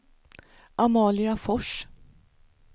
Amalia Fors